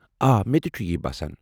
آ، مےٚ تہِ چھٗ یی باسان۔